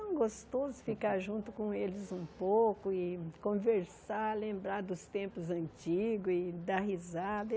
É tão gostoso ficar junto com eles um pouco e conversar, lembrar dos tempos antigos e dar risada.